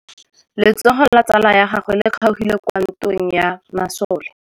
Letsôgô la tsala ya gagwe le kgaogile kwa ntweng ya masole.